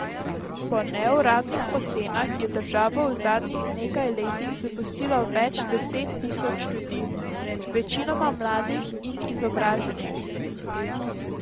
Po neuradnih ocenah je državo v zadnjih nekaj letih zapustilo več deset tisoč ljudi, večinoma mladih in izobraženih.